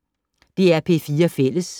DR P4 Fælles